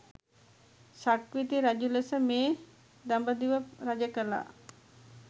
සක්විති රජු ලෙස මේ දඹදිව රජ කළා.